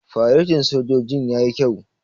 Faretin sojojin yayi kyau.